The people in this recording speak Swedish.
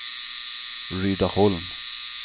Rydaholm